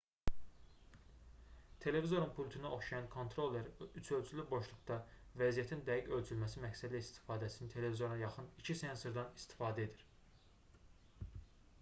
televizorun pultuna oxşayan kontroller üçölçülü boşluqda vəziyyətin dəqiq ölçülməsi məqsədilə istifadəçinin televizoruna yaxın 2 sensordan istifadə edir